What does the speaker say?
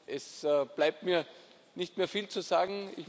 Es bleibt mir nicht mehr viel zu sagen.